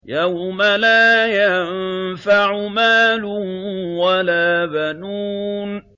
يَوْمَ لَا يَنفَعُ مَالٌ وَلَا بَنُونَ